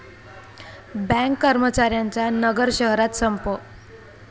bank कर्मचाऱ्यांचा नगर शहरात संप